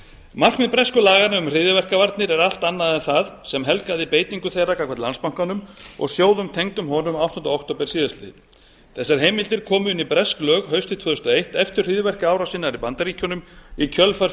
markmið bresku laganna um hryðjuverkavarnir er allt annað en það sem helgaði beitingu þeirra gagnvart landsbankanum og sjóðum tengdum honum áttunda október síðastliðinn þessar heimildir komu inn í bresk lög haustið tvö þúsund og eitt eftir hryðjuverkaárásina í bandaríkjunum í kjölfar